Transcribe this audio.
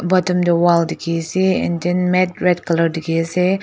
bottom tu wall dikhi ase and then mat red colour dikhi ase.